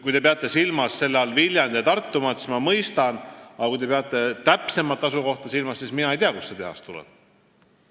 Kui te peate silmas Viljandi- ja Tartumaad, siis ma mõistan teid, aga kui te peate täpsemat asukohta silmas, siis pean ütlema, et mina ei tea, kuhu see tehas tuleb.